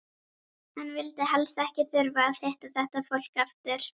Hann vildi helst ekki þurfa að hitta þetta fólk aftur!